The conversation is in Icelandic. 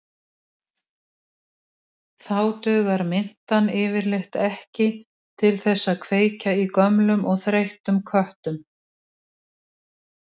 Hvergi er hins vegar minnst á nákvæman fæðingardag Jesú í Biblíunni, ekki einu sinni árstíðina.